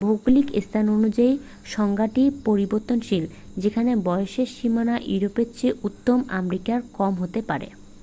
ভৌগলিক স্থান অনুযায়ী সংজ্ঞাটি পরিবর্তনশীল যেখানে বয়সের সীমা ইউরোপের চেয়ে উত্তর আমেরিকায় কম হতে পারে